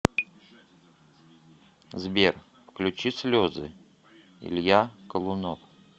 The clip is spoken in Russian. сбер включи слезы илья колунов